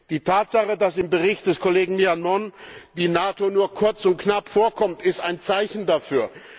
Die Tatsache, dass im Bericht des Kollegen Millán Mon die NATO nur kurz und knapp vorkommt, ist ein Zeichen dafür.